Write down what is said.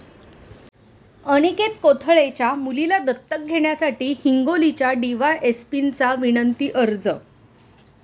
अनिकेत कोथळेच्या मुलीला दत्तक घेण्यासाठी हिंगोलीच्या डीवायएसपींचा विनंती अर्ज